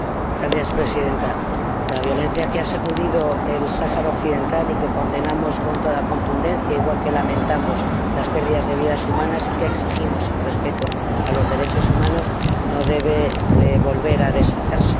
Señora Presidenta, la violencia que ha sacudido el Sáhara Occidental y que condenamos con toda contundencia, igual que lamentamos la pérdida de vidas humanas y que exigimos respeto a los derechos humanos, no debe volver a desatarse.